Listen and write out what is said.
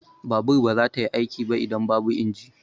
Babur ba za ta yi aiki ba idan babu inji.